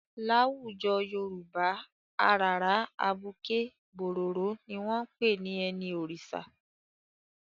Láwùjọ Yorùbá, àràrá, abuké, bòròró ni wọn ń pè ní ẹni Òrìṣà.